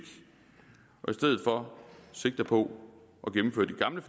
og i stedet for sigter på